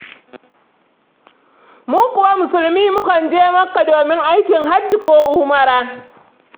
Mu kuwa Musulmi mukan je Makka domin aikin Hajji ko Umara.